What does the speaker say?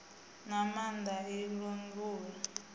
na maanda a i languli